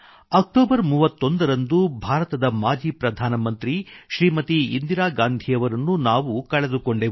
October 31 ರಂದು ಭಾರತದ ಮಾಜಿ ಪ್ರಧಾನಮಂತ್ರಿ ಶ್ರೀಮತಿ ಇಂದಿರಾ ಗಾಂಧಿಯವರನ್ನು ನಾವು ಕಳೆದುಕೊಂಡೆವು